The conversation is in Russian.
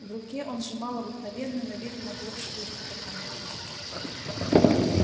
в руке он сжимал обыкновенную на вид магловскую фотокамеру